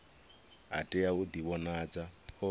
a tea u ḓivhonadza o